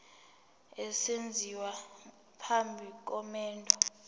esenziwa phambi komendo